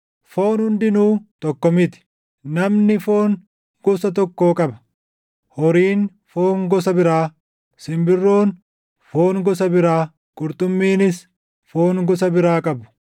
Foon hundinuu tokko miti; namni foon gosa tokkoo qaba; horiin foon gosa biraa, simbirroon foon gosa biraa, qurxummiinis foon gosa biraa qabu.